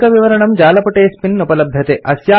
अधिकविवरणं जालपुटेऽस्मिन् उपलभ्यते